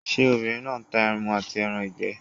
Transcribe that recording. Ṣé obìnrin náà n ta ẹmu àti ẹran ìgbẹ́?